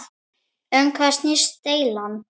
Um hvað snýst deilan?